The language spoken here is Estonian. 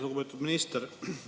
Lugupeetud minister!